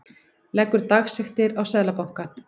Leggur dagsektir á Seðlabankann